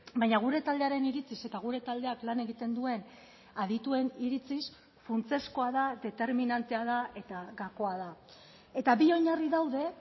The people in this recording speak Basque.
baina gure taldearen iritziz eta gure taldeak lan egiten duen adituen iritziz funtsezkoa da determinantea da eta gakoa da eta bi oinarri daude